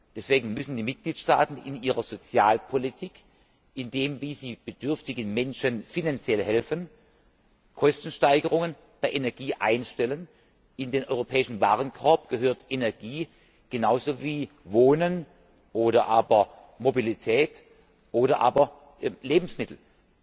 Deswegen müssen die Mitgliedstaaten in ihrer Sozialpolitik, bei der Art und Weise, wie sie bedürftigen Menschen finanziell helfen, Kostensteigerungen bei Energie einstellen. In den europäischen Warenkorb gehört Energie genauso wie Wohnen oder Mobilität oder Lebensmittel.